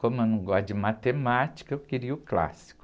Como eu não gosto de matemática, eu queria o clássico.